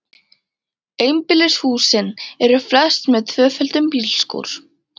Einbýlishúsin eru flest með tvöföldum bílskúr.